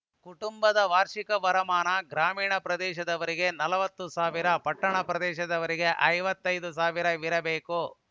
ಕುಟುಂಬದ ವಾರ್ಷಿಕ ವರಮಾನ ಗ್ರಾಮೀಣ ಪ್ರದೇಶದವರಿಗೆ ನಲವತ್ತು ಸಾವಿರ ಪಟ್ಟಣ ಪ್ರದೇಶದವರಿಗೆ ಐವತ್ತ್ ಐದು ಸಾವಿರ ಇರಬೇಕು